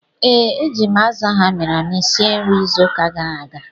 Ee, eji m azụ ahụ amịrị amị sie nri izu ụka gara aga